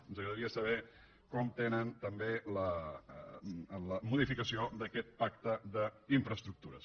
ens agradaria saber com tenen també la modificació d’aquest pacte d’infraestructures